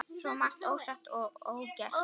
Svo margt ósagt og ógert.